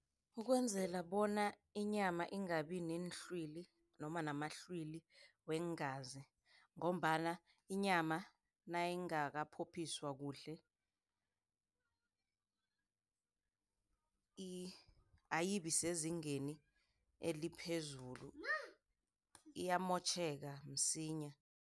Ukwenzela bona inyama ingabi neenhlwili, noma namahlwili weengazi, ngombana inyama nayingakaphophiswa kuhle, ayibi sezingeni eliphezulu. Iyamotjheka msinya.